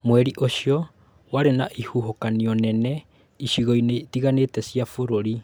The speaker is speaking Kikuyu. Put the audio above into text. Mweri ũcio warĩ na ihuhũkanio nene icigo-inĩ itiganĩte cia bũrũri